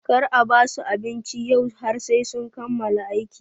Kar a basu abinci yau har sai sun kammala aiki!